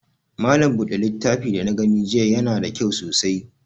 Malam buɗe littafin da na gani jiya ya na da kyau sosai